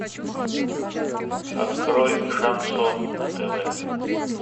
открой шансон на тв